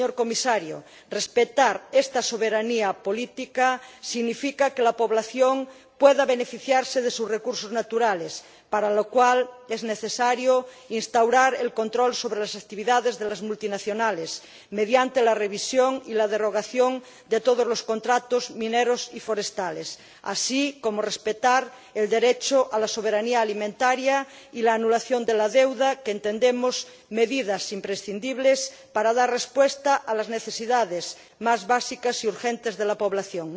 Y, señor Comisario, respetar esta soberanía política significa que la población pueda beneficiarse de sus recursos naturales, para lo cual es necesario instaurar el control sobre las actividades de las multinacionales mediante la revisión y la derogación de todos los contratos mineros y forestales, así como respetar el derecho a la soberanía alimentaria y la anulación de la deuda, que, entendemos, son medidas imprescindibles para dar respuesta a las necesidades más básicas y urgentes de la población.